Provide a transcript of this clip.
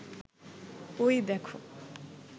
ওই দেখো